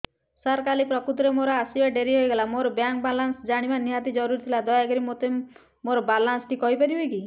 ସାର କାଲି ପ୍ରକୃତରେ ମୋର ଆସିବା ଡେରି ହେଇଗଲା ମୋର ବ୍ୟାଙ୍କ ବାଲାନ୍ସ ଜାଣିବା ନିହାତି ଜରୁରୀ ଥିଲା ଦୟାକରି ମୋତେ ମୋର ବାଲାନ୍ସ ଟି କହିପାରିବେକି